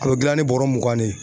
A bɛ gilan ni bɔrɔ mugan de ye.